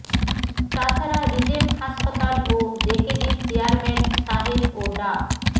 তাছাড়া রিজেন্ট হাসপাতাল ও জেকেজির চেয়ারম্যান সাহেদ ও ডা